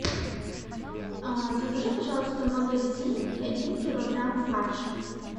закажи пожалуйста в магазине один килограмм фарша